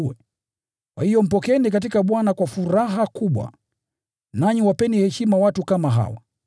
Kwa hiyo mpokeeni katika Bwana kwa furaha kubwa, nanyi wapeni heshima watu kama hawa,